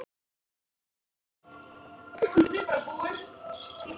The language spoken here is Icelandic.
spurði hún forviða.